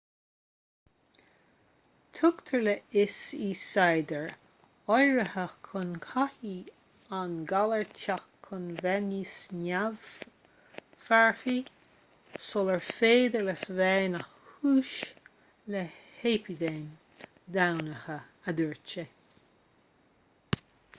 tugtar le fios i staidéir áirithe go gcaithfidh an galar teacht chun bheith níos neamh-mharfaí sular féidir leis bheith ina chúis le heipidéim dhomhanda a dúirt sé